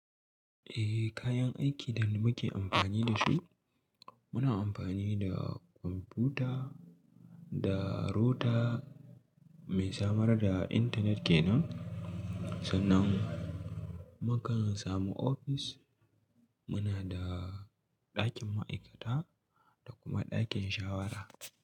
Eh kayan aikin da muke amfani da su, muna amfani da kwamfuta, da router mai samar da intanet kenan. Sannan mu kan samu ofis muna da ɗakin ma'aikata da kuma ɗakin shawara.